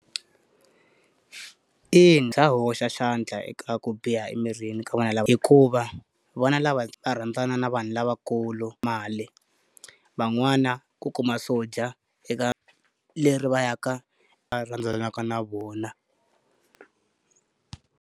Eya, bya hoxa xandla eka ku biha emirini ka vana lava hikuva, vona lava rhandzana na vanhu lavakulu mali, van'wana ku kuma swo dya eka leri va ya ka varhandzaka na vona.